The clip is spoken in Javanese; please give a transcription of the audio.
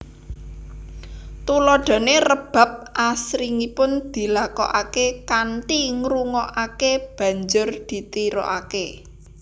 Tuladhané rebab asringipun dilakokaké kanthi ngrungokaké banjur ditirukaké